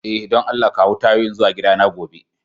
Eh, dan Allah kawo tayoyin zuwa gida na gobe.